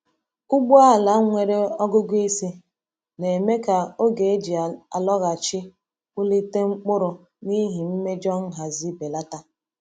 Ugbo ala nwere ọgụgụ isi na-eme ka oge eji alọghachi kpụlite mkpụrụ n’ihi mmejọ nhazi belata.